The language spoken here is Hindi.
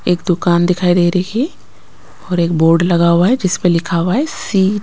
एक दुकान दिखाई दे रही है और एक बोर्ड लगा हुआ है जिस पे लिखा हुआ है सी--